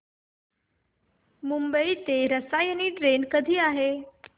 मुंबई ते रसायनी ट्रेन कधी आहे